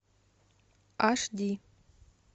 аш ди